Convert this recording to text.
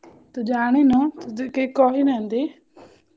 ତୁ ଜାଣିନୁ ତତେ କେହି କହିନାହନ୍ତି କି?